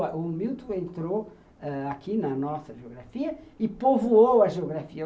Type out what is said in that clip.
O Milton entrou aqui na nossa geografia e povoou a geografia.